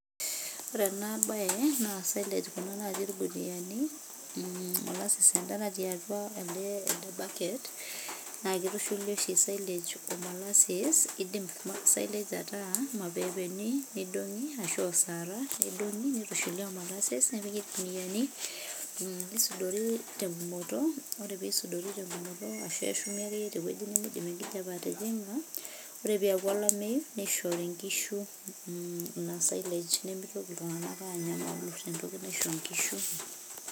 Ore ena baye naa silage kuna natii ilkuniayiani mmm molasses en`daa natii atua elde bucket naa kitushuli oshi sillage o molasses. kidim silage ataa irmapepeeni nidong`i ashu osarra nidong`i nitushuli o mollases. Nepiki ilkuniani nisudori te ng`umoto ore pee eisudori te ng`umoto ashu eshumi ake iyie te wueji nemeidim enkijiape atijing`a. Ore pee eeku olameyu nishori nkishu in silage nimitoki iltung`anak aanyamalu te ntoki naisho nkishu.